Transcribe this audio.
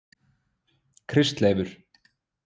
Kristleifur